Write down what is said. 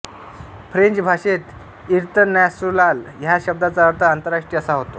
French भाषेत इंतर्नास्योनाल ह्या शब्दाचा अर्थ आंतरराष्ट्रीय असा होतो